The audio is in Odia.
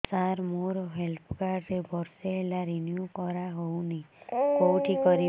ସାର ମୋର ହେଲ୍ଥ କାର୍ଡ ବର୍ଷେ ହେଲା ରିନିଓ କରା ହଉନି କଉଠି କରିବି